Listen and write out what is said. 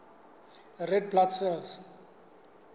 red blood cells